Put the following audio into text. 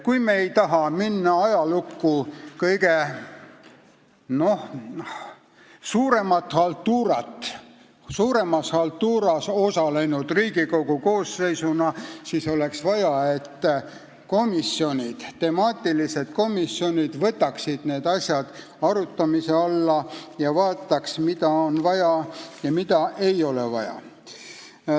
Kui me ei taha minna ajalukku kõige suuremas haltuuras osalenud Riigikogu koosseisuna, siis oleks vaja, et valdkonnakomisjonid võtaksid need asjad arutamise alla ja vaataksid, mida on vaja ja mida ei ole vaja.